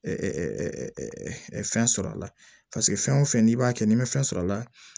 fɛn sɔrɔ a la paseke fɛn o fɛn n'i b'a kɛ ni ma fɛn sɔrɔ a la